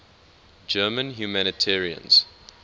german humanitarians